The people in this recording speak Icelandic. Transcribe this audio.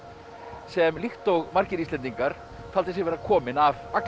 sem líkt og margir Íslendingar taldi sig vera kominn af Agli